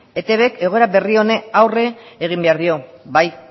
etbk egoera berri honi aurre egin behar dio